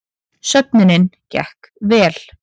Söfnunin gekk vel